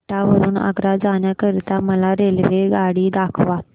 एटा वरून आग्रा जाण्या करीता मला रेल्वेगाडी दाखवा